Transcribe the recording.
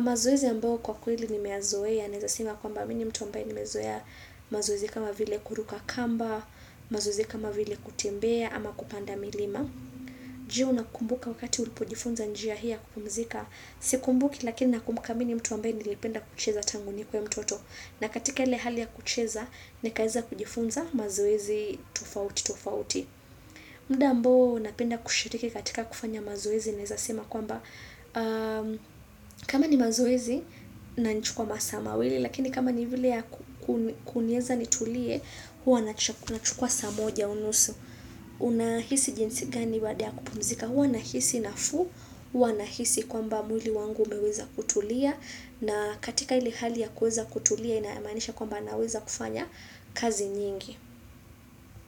Mazoezi ambayo kwa kweli nimeyazoea naeza sema kwamba mmi ni mtu amba ye nimezoea mazoezi kama vile kuruka kamba mazoezi kama vile kutembea ama kupanda milima je? Unakumbuka wakati ulipojifunza njia hii ya kupumzika, sikumbuki lakini nakumbuka mimi ni mtu ambaye nilipenda kucheza tangu nikue mtoto, na katika ile hali ya kucheza, nikaweza kujifunza mazoezi tofauti tofauti muda ambao napenda kushiriki katika kufanya mazoezi naeza sema kwamba kama ni mazoezi na inanichukua masaa mawili, lakini kama ni vile ya kuniweza nitulie huwa nachukua saa moja unusu. Unahisi jinsi gani baada ya kupumzika. Huwa nahisi nafuu. Huwa nahisi kwamba mwili wangu umeweza kutulia na katika ile hali ya kuweza kutulia inamaanisha kwamba naweza kufanya kazi nyingi.